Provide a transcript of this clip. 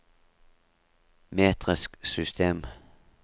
metrisk system